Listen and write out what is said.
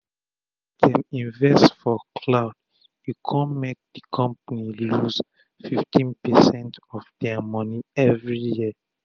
as dem invest for cloud e kon make make d compani lose 15 percent of dia moni everi year